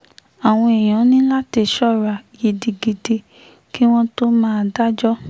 àwọn èèyàn ní láti ṣọ́ra gidigidi kí wọ́n tóó máa dájọ́